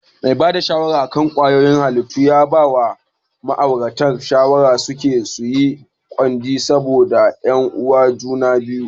Mai bada shawara akan ƙwayoyin halitta ya bawa ma'auratan shawara suje suyi gwaji saboda su yan uwan juna ne.